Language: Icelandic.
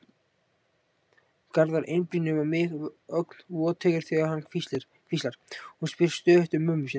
Garðar einblínir á mig, ögn voteygur þegar hann hvíslar: Hún spyr stöðugt um mömmu sína.